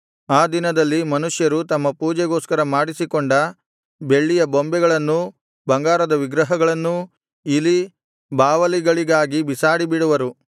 ಆ ದಿನದಲ್ಲಿ ಮನುಷ್ಯರು ತಮ್ಮ ಪೂಜೆಗೋಸ್ಕರ ಮಾಡಿಸಿಕೊಂಡ ಬೆಳ್ಳಿಯ ಬೊಂಬೆಗಳನ್ನೂ ಬಂಗಾರದ ವಿಗ್ರಹಗಳನ್ನೂ ಇಲಿ ಬಾವಲಿಗಳಿಗಾಗಿ ಬಿಸಾಡಿ ಬಿಡುವರು